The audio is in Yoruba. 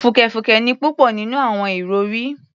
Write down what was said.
Fùkẹ̀fùkẹ̀ ni púpọ̀ nínú àwọn ìrọ̀rí